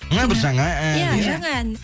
мына бір жаңа ән иә жаңа ән